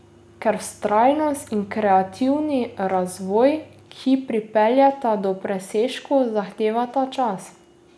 Ker vztrajnost in kreativni razvoj, ki pripeljeta do presežkov, zahtevata čas.